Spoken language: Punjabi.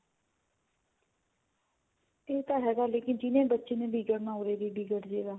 ਇਹ ਤਾਂ ਹੈ ਲੇਕਿਨ ਜਿਹੜੇ ਬੱਚੇ ਨੇ ਵਿਗੜਨਾ ਹੋਵੇ ਉਰੀ ਵੀ ਵਿਗੜਜੇਗਾ